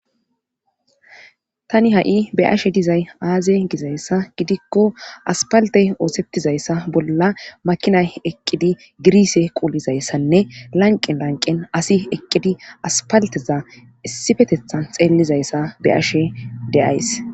Tani ha7i be ashe dizay aaze gizayssa gidikko aspaltey oosettizayssa bolla makinay eqqidi girise quulizayssanne lanqen lanqen asi eqqidi aspalteza issifetethan xeellizayssa be ashe deays